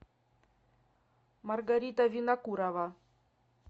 маргарита винокурова